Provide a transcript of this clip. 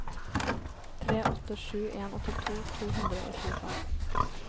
tre åtte sju en åttito to hundre og tjuefem